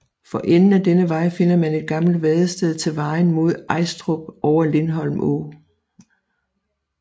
For enden af denne vej finder man et gammelt vadested til vejen mod Ajstrup over Lindholm Å